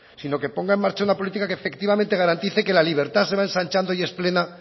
sino que ponga en marcha una política que efectivamente garantice que la libertad se va ensanchando y es plena